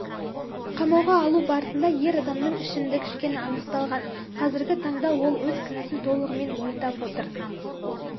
қамауға алу барысында ер адамның ішімдік ішкені анықталған қазіргі таңда ол өз кінәсін толығымен мойындап отыр